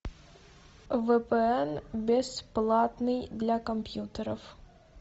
впн бесплатный для компьютеров